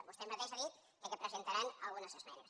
vostè mateixa ha dit que presentaran algunes esmenes